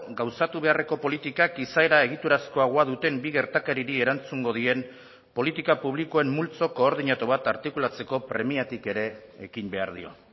gauzatu beharreko politikak izaera egiturazkoagoa duten bi gertakariri erantzungo dien politika publikoen multzo koordinatu bat artikulatzeko premiatik ere ekin behar dio